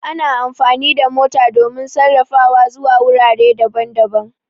Ana amfani da mota domin safara zuwa wurare daban-daban